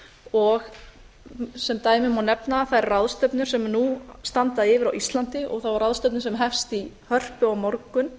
og sem dæmi má nefna þær ráðstefnur sem nú standa yfir á íslandi og þá ráðstefnu sem hefst í hörpu á morgun